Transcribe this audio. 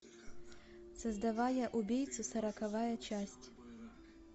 создавая убийцу сороковая часть